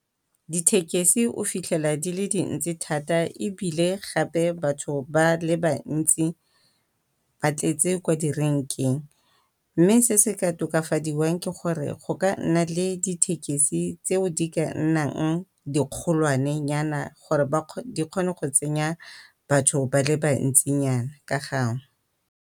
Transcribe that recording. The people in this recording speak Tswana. Dithekesi o fitlhela di le dintsi thata ebile gape batho ba le bantsi ba tletse kwa direnkeng, mme se se ka tokafadiwang ke gore go ka nna le dithekesi tseo di ka nnang dikgolwanenyana gore di kgone go tsenya batho ba le bantsinyana ka gangwe.